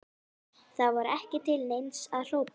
Það var ekki til neins að hrópa.